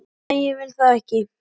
Nei, ég vil það ekki.